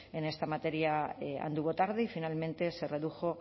en esta materia anduvo tarde y finalmente se redujo